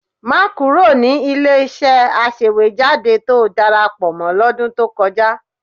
Má kúrò ní ilé-iṣẹ́ aṣèwéjádé tó darapọ̀ mọ́ lọ́dún tó kọjá